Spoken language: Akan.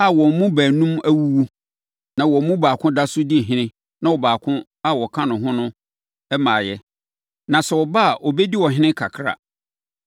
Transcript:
a wɔn mu baanum awuwu, na wɔn mu baako da so di ɔhene na ɔbaako a ɔka wɔn ho no mmaeɛ. Na sɛ ɔba a ɔbɛdi ɔhene kakra.